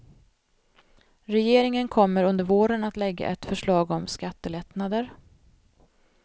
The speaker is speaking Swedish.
Regeringen kommer under våren att lägga ett förslag om skattelättnader.